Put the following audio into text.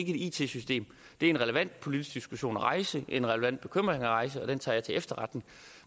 et it system det er en relevant politisk diskussion at rejse en relevant bekymring at rejse og den tager jeg til efterretning